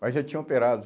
Mas já tinha operado.